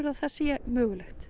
að það sé